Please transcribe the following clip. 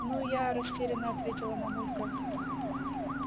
ну я растеряно ответила мамулька